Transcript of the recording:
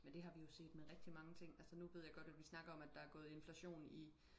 men det har vi jo set med rigtig mange ting altså nu ved jeg godt at vi snakker om at der er gået inflation i